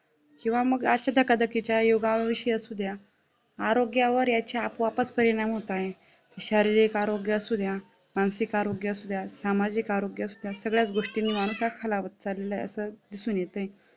किंवा मग असा एखादा योगावर विषय असू द्या, आरोग्यावर याच्या आपोआप परिणाम होत आहे, शारीरिक आरोग्य असू द्या, मानसिक आरोग्य असू द्या, सामाजिक आरोग्य असू द्या सगळ्यात गोष्टी माणूस खालावत चाललेलं आहे असं दिसून येतंय